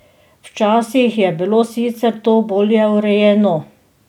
Včasih je bilo sicer to bolje urejeno.